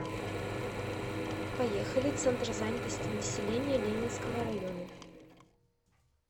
поехали центр занятости населения ленинского района